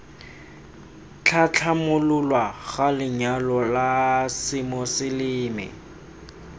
tlhatlhamololwa ga lenyalo la semoseleme